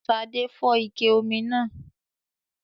Ṣadé fọ́ ike omi náà